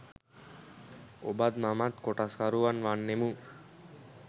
ඔබත් මමත් කොටස්කරුවන් වන්නෙමු